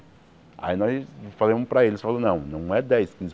Aí nós falamos para eles, falou não não é dez quinze